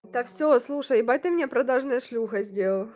это все слушай это мне продажные ш здесь